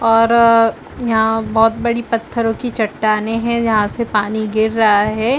और यहाँ बहुत बड़ी पत्थरों की चट्टानें है जहाँ से पानी गिर रहा है।